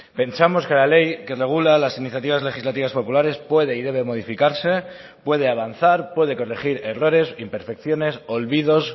pensamos que la ley que regula las iniciativas legislativas populares puede y debe modificarse puede avanzar puede corregir errores imperfecciones olvidos